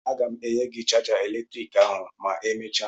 Aga m enye gị chaja eletriki ahụ ma emechaa!